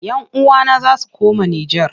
Yan uwana za su koma Nijar.